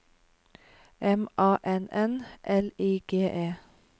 M A N N L I G E